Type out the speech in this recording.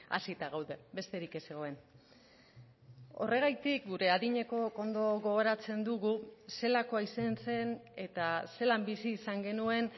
hazita gaude besterik ez zegoen horregatik gure adinekook ondo gogoratzen dugu zelakoa izan zen eta zelan bizi izan genuen